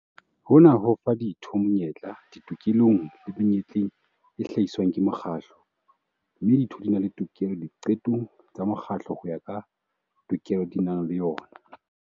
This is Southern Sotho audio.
Hona ho fa ditho monyetla ditokelong le menyetleng e hlahiswang ke mokgatlo, mme ditho di na le tokelo diqetong tsa mokgatlo ho ya ka tokelo di nang le yona.